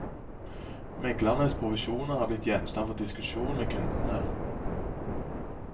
Meglernes provisjoner er blitt gjenstand for diskusjon med kundene.